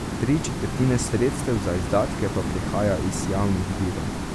Tri četrtine sredstev za izdatke pa prihaja iz javnih virov.